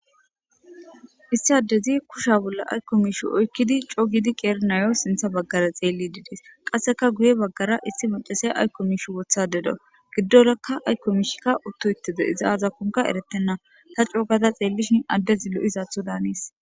issi addezi kusha bolla aykko mishu oykkidi coo gidi qeernayo sintha baggara xeelli didees qasseka guye baggara issi macasey aykkomish wotha deda giddorakka aykkomishikka uttu hittide iza azakonka eretenna ta coogada xeellishin addezi lo7isaatho daaniis